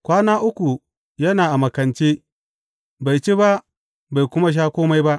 Kwana uku yana a makance, bai ci ba bai kuma sha kome ba.